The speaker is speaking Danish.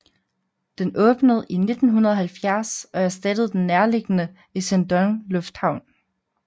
Den åbnede i 1970 og erstattede den nærliggende Essendon Lufthavn